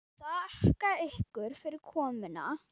Þakka ykkur fyrir komuna.